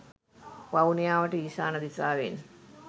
වවුනියාවට ඊශාන දිශාවෙන්